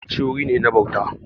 Masallaci wuri ne na bauta.